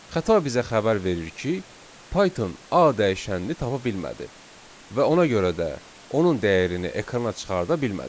Xəta bizə xəbər verir ki, Python a dəyişənini tapa bilmədi və ona görə də onun dəyərini ekrana çıxarda bilmədi.